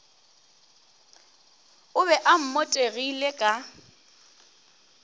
o be o mmotegile ka